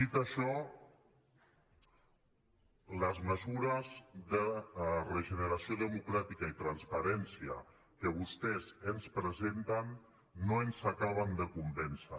dit això les mesures de regeneració democràtica i transparència que vostès ens presenten no ens acaben de convèncer